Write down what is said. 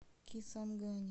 кисангани